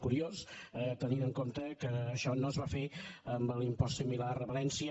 curiós tenint en compte que això no es va fer amb l’impost similar a valència